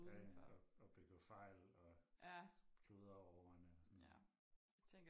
Ja og begår fejl og kludrer over ordene